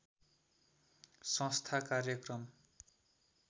संस्था कार्यक्रम